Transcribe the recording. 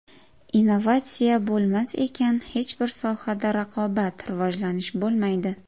Innovatsiya bo‘lmas ekan, hech bir sohada raqobat, rivojlanish bo‘lmaydi.